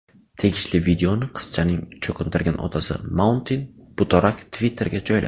Tegishli videoni qizchaning cho‘qintirgan otasi Mauntin Butorak Twitter’ga joyladi.